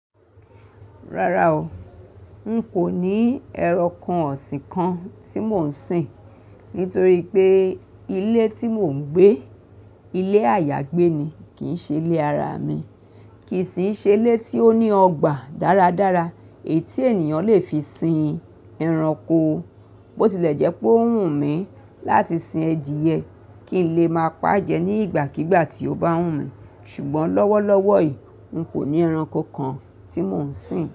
Rárá o, n kò ní ẹranko ọ̀sìn kan tí mò ń sìn. Nítorí pé ilé tí mò ń gbé, ilé àyágbé ni kì í ṣe ilé ara mi, kì í sì ṣe ilé tí ó ní ọgbà dáradára èyí tí ènìyàn lè fi sin ẹranko. Bó tilẹ̀ jẹ́ pé ó wù mí láti sin adiyẹ, kí n lè máa pa á jẹ ní ìgbàkígbà tí ó bá wù mí. Ṣùgbọ́n lọ́wọ́lọ́wọ́ yìí, n kò ní ẹranko kan tí mò ń sìn.